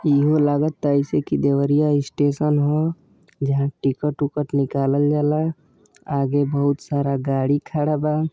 इहो लागता अइसे की देवरिया स्टेशन ह जहां टिकट वूकट निकालल जाला आगे बहुत सारा गाड़ी खड़ा बा।